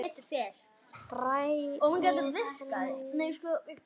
Spræk og fjörug, já.